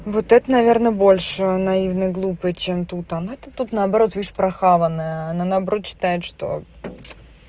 вот это наверное больше наивная глупая чем тут она-то тут наоборот видишь прохаванная она наоборот считает что